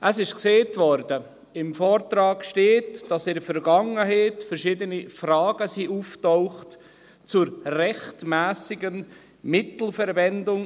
Es wurde gesagt, im Vortrag stehe, dass in der Vergangenheit verschiedene Fragen aufgetaucht sind zur rechtmässigen Mittelverwendung.